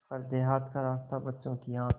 पर देहात का रास्ता बच्चों की आँख